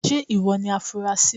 Ṣé ìwọ ni afunrasí.?.